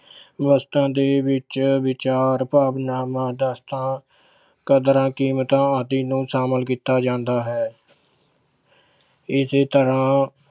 ਵਸਤਾਂ ਦੇ ਵਿੱਚ ਵਿਚਾਰ ਭਾਵਾਨਾਵਾਂ ਕਦਰਾਂ-ਕੀਮਤਾਂ ਆਦਿ ਨੂੰ ਸ਼ਾਮਿਲ ਕੀਤਾ ਜਾਂਦਾ ਹੈ ਇਸ ਤਰ੍ਹਾਂ